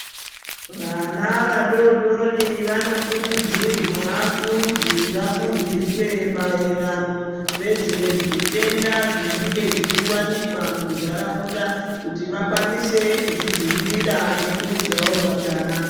Vana vadodori vanokurudzirwa kunzi vafundiswe maererano nezvezvitenda zvinenge zvichiwanikwa muntaraunda kuti vakwanise kuzvidzivirira nekuudzawo vatana.